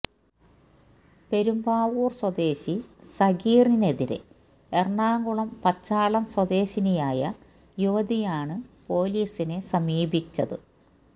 പെരുമ്പാവൂര് സ്വദേശി സഗീറിനെതിരെ എറണാകുളം പച്ചാളം സ്വദേശിനിയായ യുവതിയാണ് പൊലീസിനെ സമീപിച്ചത്